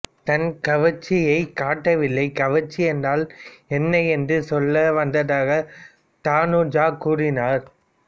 தான் கவர்ச்சியைக் காட்டவில்லை கவர்ச்சி என்றால் என்ன என்று சொல்ல வந்ததாக தனுஜா கூறினார்